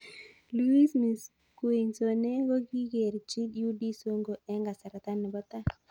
Luiz Misquissone kokikerchi UD Songo eng' kasarta nebo tai.